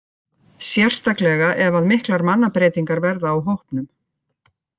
Sérstaklega ef að miklar mannabreytingar verða á hópnum.